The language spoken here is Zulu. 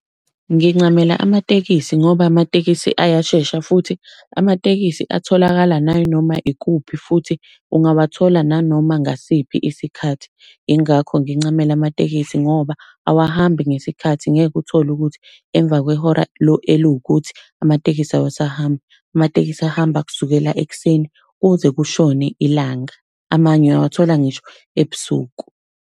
Ngincamela amatekisi ngoba amatekisi ayashesha, futhi amatekisi atholakala nayinoma ikuphi futhi ungawathola nanoma ngasiphi isikhathi. Ingakho ngincamela amatekisi ngoba awahambi ngesikhathi ngeke uthole ukuthi emva kwehora eliwukuthi amatekisi awusahambi. Amatekisi ahamba kusukela ekuseni kuze kushone ilanga, amanye uyawathola ngisho ebusuku.